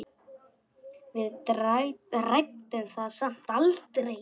Við ræddum það samt aldrei.